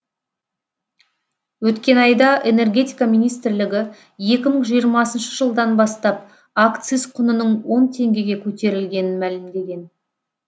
өткен айда энергетика министрлігі екі мың жиырмасыншы жылдан бастап акциз құнының он теңгеге көтерілгенін мәлімдеген